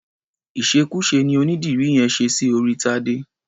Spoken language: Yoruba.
Ìṣekúṣe ni onídìrí yẹn ṣe sí orí Tadé.